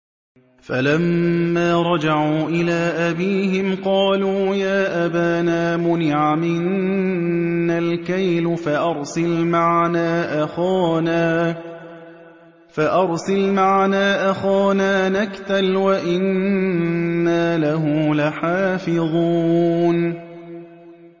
فَلَمَّا رَجَعُوا إِلَىٰ أَبِيهِمْ قَالُوا يَا أَبَانَا مُنِعَ مِنَّا الْكَيْلُ فَأَرْسِلْ مَعَنَا أَخَانَا نَكْتَلْ وَإِنَّا لَهُ لَحَافِظُونَ